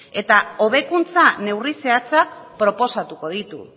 eta hobekuntza neurri zehatzak proposatuko ditu